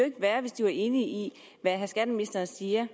ikke være hvis de var enige i det skatteministeren siger